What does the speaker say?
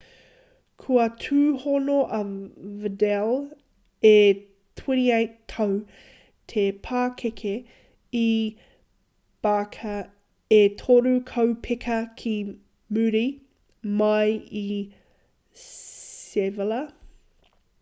kua tūhono a vidal e 28 tau te pakeke i barca e toru kaupeka ki muri mai i sevilla